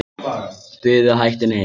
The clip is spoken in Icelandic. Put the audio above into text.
Buðu hættunni heim